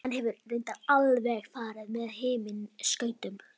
Hann hefur reyndar alveg farið með himinskautum.